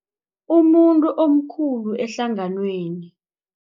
Umuntu omkhulu ehlanganweni.